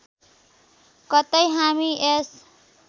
कतै हामी यस